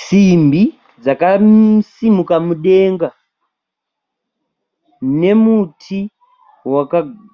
Simbi dzakasimuka mudenga nemuti